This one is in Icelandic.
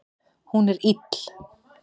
Hún er ill